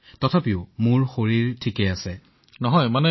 সমগ্ৰ পৰিয়ালক প্ৰত্যয়িত কৰিলে সাহস দেখুৱালে